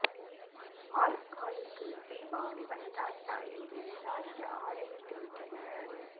ஆள் ஆளுக்கு தீபாவளி வந்ததாச்சா என்று விசாரிக்க ஆரம்பித்து விட்டனர்